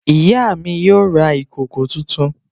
Ìyá mi yóò ra ìkòkò tuntun